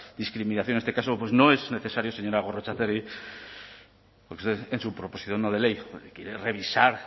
discriminación en este caso pues no es necesario señora gorrotxategi en su proposición no de ley quiere revisar